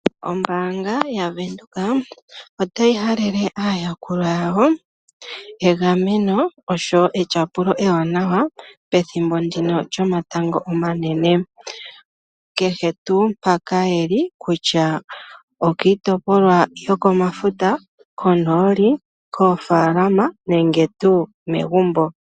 Ombaanga yaVenduka otayi halele aayakulwa yawo egameno oshowo etyapulo ewanawa pethimbo ndino lyomatango omanene. Kehe tuu mpoka ye li kutya okiitopolwa yokomafuta, konooli, koofaalama nenge tuu megumbo.